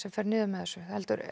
fer niður með þessu